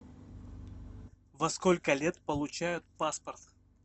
во сколько лет получают паспорт